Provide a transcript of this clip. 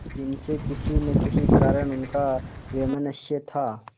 जिनसे किसी न किसी कारण उनका वैमनस्य था